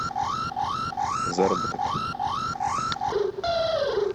заработок